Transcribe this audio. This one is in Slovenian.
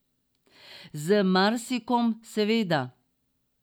Z marsikom, seveda.